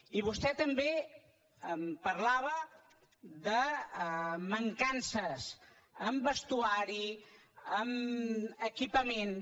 i vostè també em parlava de mancances en vestuari en equipaments